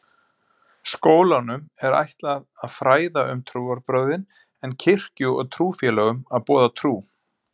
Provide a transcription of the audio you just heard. Skólanum er ætlað að fræða um trúarbrögðin en kirkju og trúfélögum að boða trú.